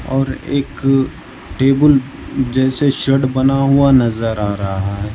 और एक टेबुल जैसे शेड बना हुआ नजर आ रहा है।